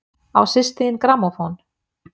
Á systir þín grammófón?